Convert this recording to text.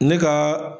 Ne ka